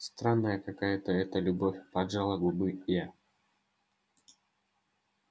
странная какая-то эта любовь поджала губы я